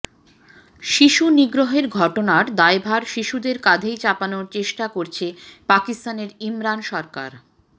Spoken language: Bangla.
শিশু নিগ্রহের ঘটনার দায়ভার শিশুদের কাধেই চাপানোর চেষ্টা করছে পাকিস্তানের ইমরান সরকার